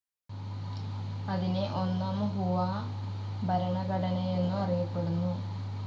അതിനെ ഒന്നാം ഹുആ ഭരണഘടനയെന്നു അറിയപ്പെടുന്നു.